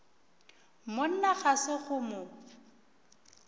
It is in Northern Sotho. monna ga se go mo